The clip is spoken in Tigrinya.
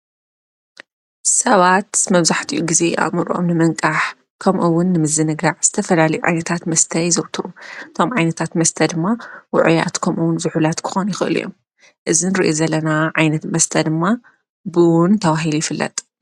ሰባት መብዙሕቲኡ ጊዜ ኣምርኦም ንምንቃሕ ከምኡውን ምዝ ንጋዕ ዝተፈላል ዓይነታት መስተይ ዘውትሩ። ቶም ዓይነታት መስተ ድማ ውዑያት ከምኡውን ዝኅላት ክኾኑ ይኸሉ እዮም እዝን ርእየት ዘለና ዓይነት መስተ ድማ ብውን ተዋሂል ይፍለጥ።